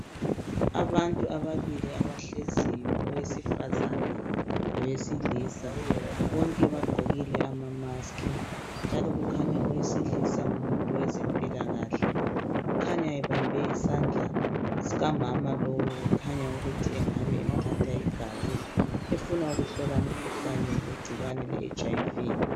Abantu ababili abahleziyo owesifazana lowe silisa bonke bagqokile ama maski njalo kukhanya owesilisa ngumuntu owezempila kahle. Kukhanya ebambe isandla sikamama lowu kukhunya ukuthi engabe emthatha igazi efuna ukuhlola umkhuhlane wegcikwane le HIV.